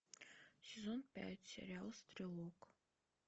сезон пять сериал стрелок